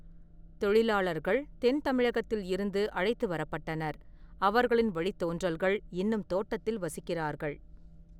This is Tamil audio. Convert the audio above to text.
தொழிலாளர்கள் தென்தமிழகத்தில் இருந்து அழைத்து வரப்பட்டனர், அவர்களின் வழித்தோன்றல்கள் இன்னும் தோட்டத்தில் வசிக்கிறார்கள்.